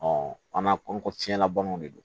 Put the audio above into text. an ka ko fiɲɛlabanaw de don